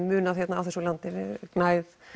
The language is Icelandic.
munað hérna á þessu landi gnægð